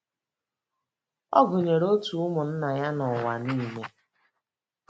Ọ gụnyere òtù ụmụnna anyị n’ụwa nile.